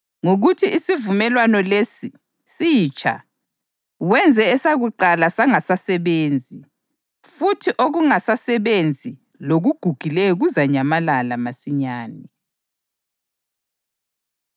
Ngokuthi isivumelwano lesi “sitsha” wenze esakuqala sangasasebenzi; futhi okungasasebenzi lokugugileyo kuzanyamalala masinyane.